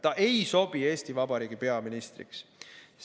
Ta ei sobi Eesti Vabariigi peaministriks.